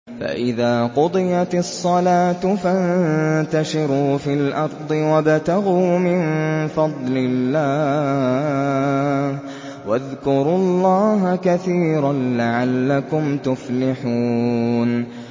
فَإِذَا قُضِيَتِ الصَّلَاةُ فَانتَشِرُوا فِي الْأَرْضِ وَابْتَغُوا مِن فَضْلِ اللَّهِ وَاذْكُرُوا اللَّهَ كَثِيرًا لَّعَلَّكُمْ تُفْلِحُونَ